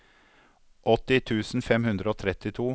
åtti tusen fem hundre og trettito